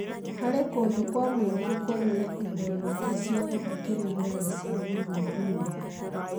Harĩ kũndũ kwa mũingĩ kũrĩ na indo nyingĩ cia gũthikĩrĩria na cia gũthuthuria.